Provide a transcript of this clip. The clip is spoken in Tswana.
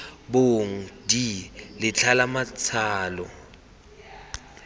bong d letlha la matsalo